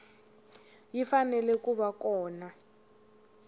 yi fanele ku va kona